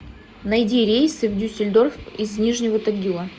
найди рейсы в дюссельдорф из нижнего тагила